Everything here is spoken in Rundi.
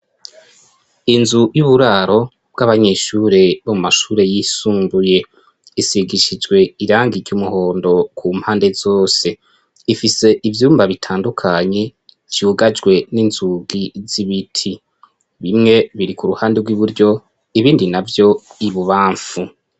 Inzu y'uburaro bw'abanyeshure bo mu mashure yisumbuye, isigishijwe irangi iry'umuhondo ku mpande zose, ifise ivyumba bitandukanye vyugajwe n'inzugi z'ibiti, bimwe biri ku ruhande rw'iburyo ibindi navyo ibubamfu.